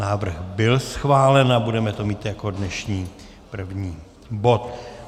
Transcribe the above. Návrh byl schválen a budeme to mít jako dnešní první bod.